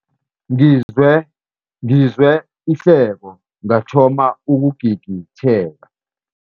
Ngizwe ihleko ngathoma ukugigitheka.